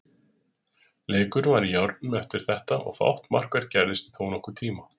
Leikurinn var í járnum eftir þetta og fátt markvert gerðist í þónokkurn tíma.